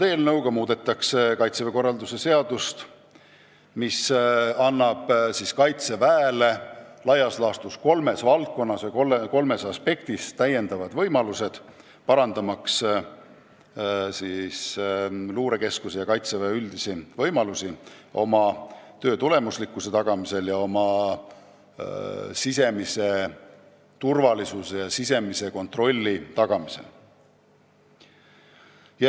Eelnõuga muudetakse Kaitseväe korralduse seadust nii, et Kaitsevägi saab laias laastus kolmes aspektis täiendavad võimalused, parandamaks luurekeskuse ja Kaitseväe üldisi võimalusi oma töö tulemuslikkuse, siseturvalisuse ja sisekontrolli tagamisel.